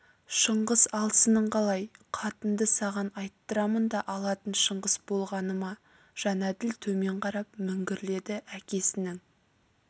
шыңғыс алсының қалай қатынды саған айттырамын да алатын шыңғыс болғаны ма жәнәділ төмен қарап міңгірледі әкесінің